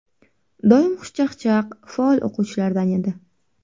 Doim xushchaqchaq, faol o‘quvchilardan edi.